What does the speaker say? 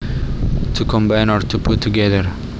To combine or to put together